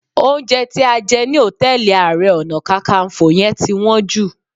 Oúnjẹ tí a jẹ ní hòtẹ́ẹ̀lì Ààrẹ Ọ̀nà Kakaǹfò yẹn ti wọ́n jù